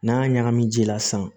N'an y'a ɲagami ji la sisan